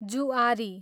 जुआरी